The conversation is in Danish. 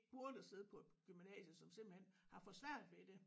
Burde sidde på et gymnasium som simpelthen har for svært ved det